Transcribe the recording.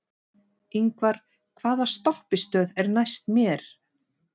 Yngvar, hvaða stoppistöð er næst mér?